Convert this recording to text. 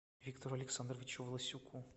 виктору александровичу власюку